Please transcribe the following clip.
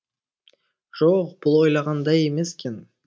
жо о оқ бұл ойлағандай емес екен